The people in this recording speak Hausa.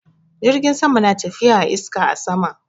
Jirgin sama na tafiya a iska a sama.